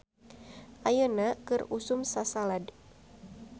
"Ayeuna keur usum sasalad "